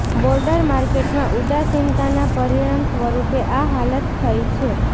broader માર્કેટમાં ઉદાસીનતાના પરિણામ સ્વરુપે આ હાલત થઇ છે